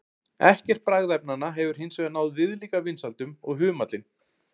Ekkert bragðefnanna hefur hins vegar náð viðlíka vinsældum og humallinn.